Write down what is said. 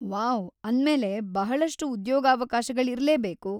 Wow! ಅಂದ್ಮೇಲೆ ಬಹಳಷ್ಟು ಉದ್ಯೋಗಾವಕಾಶಗಳಿರ್ಲೇಬೇಕು.